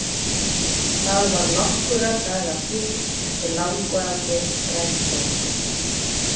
Það var nokkurra daga frí eftir langvarandi þrældóm.